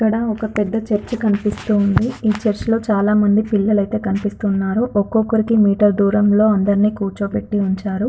ఇక్కడా ఒక పెద్ద చర్చ్ కనిపిస్తూంది ఇ చర్చ్లొ చాలామంది పిల్లలైతె కనిపిస్తున్నారు ఒక్కొక్కరికి మీటర్ దూరంలొ అందర్నీ కుర్చోపెట్టి ఉంచారు.